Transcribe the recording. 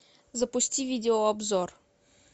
запусти видеообзор